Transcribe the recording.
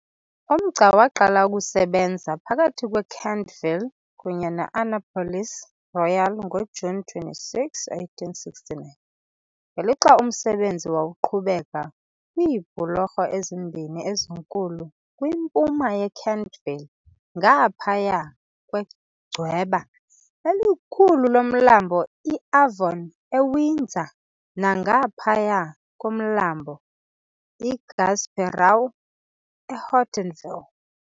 Umgca waqala ukusebenza phakathi kweKentville kunye ne-Annapolis Royal ngoJuni 26, 1869, ngelixa umsebenzi wawuqhubeka kwiibhulorho ezimbini ezinkulu kwimpuma yeKentville ngaphaya kwegcweba elikhulu loMlambo iAvon eWindsor nangaphaya koMlambo iGasperau eHortonville .